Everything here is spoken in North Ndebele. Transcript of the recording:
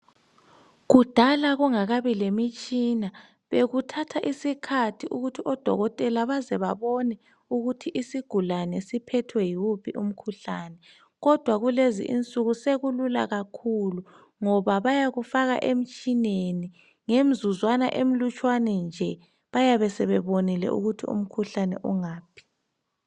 Kudala kungakabi lemitshina bekuthatha isikhathi ukuthi odokotela baze babone ukuthi sigulane siphethwe yiwuphi umkhuhlane. Kodwa kulezi insuku sekulula kakhulu .Ngoba bayakufaka emtshineni .Ngemzuzwana emlutshwane nje bayabe sebebonile ukuthi umkhuhlane ungaphi .